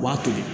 U b'a to